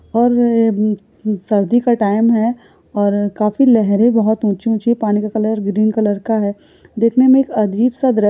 और म म सर्दी का टाइम है और काफी लहरे बहुत ऊंची ऊंची पानी का कलर ग्रीन कलर का है। देखने में एक अजीब सा दृ --